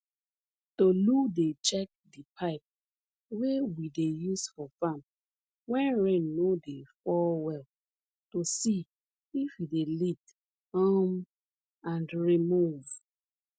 tolu dey check di pipe wey we dey use for farm wen rain no dey fall well to see if e dey leak um and remove